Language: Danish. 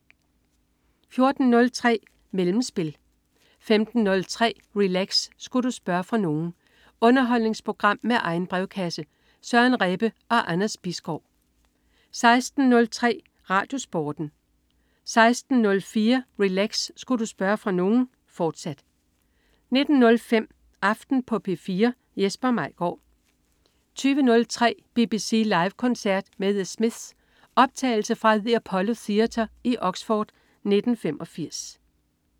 14.03 Mellemspil 15.03 Relax. Sku' du spørge fra nogen? Underholdningsprogram med egen brevkasse. Søren Rebbe og Anders Bisgaard 16.03 RadioSporten 16.04 Relax. Sku' du spørge fra nogen?, fortsat 19.05 Aften på P4. Jesper Maigaard 20.03 BBC Live koncert med The Smiths. Optagelse fra the Apollo Theatre i Oxford i 1985